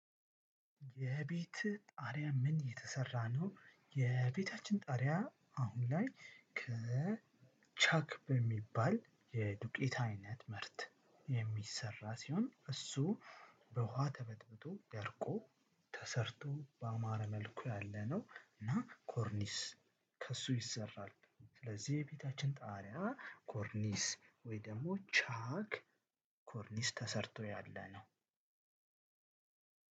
የቤት ጣሪያ ምን እየተሰራ ነው? የቤታችን ጣሪያ አሁን ላይ ከ ከቻክ በሚባል የዱቄት አይነት ምርት የሚሰራ ሲሆን እሱ በውሃ ተበትብቶ ያርቆ ተሰርቶ በማረ መልኩ ያለነው እና ኮርኒስ ከእሱ ይሰራል። ስለዚህ የቤታችን ጣሪያ ኮርኒስ ወይ ደግሞ ቻክ ኮርኒስ ተሰርቶ ያለ ነው።